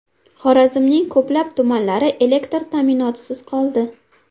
Xorazmning ko‘plab tumanlari elektr ta’minotisiz qoldi.